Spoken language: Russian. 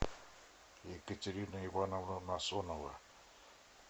екатерина ивановна насонова